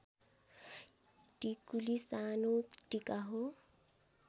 टिकुली सानो टीका हो